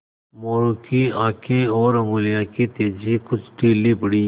मोरू की आँखें और उंगलियों की तेज़ी कुछ ढीली पड़ी